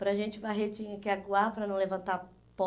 Para a gente varrer tinha que aguar para não levantar pó.